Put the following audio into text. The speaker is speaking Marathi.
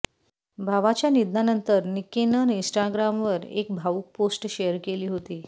भावाच्या निधनानंतर निक्कीनं इन्स्टाग्रामवर एक भावुक पोस्ट शेअर केली होती